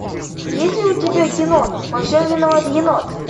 есть ли у тебя кино во всем виноват енот